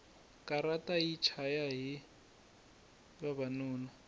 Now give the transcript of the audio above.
katara yi chaya hi vavanuna